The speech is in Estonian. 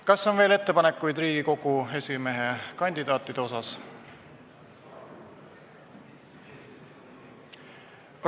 Kas on veel ettepanekuid Riigikogu esimehe kandidaatide kohta?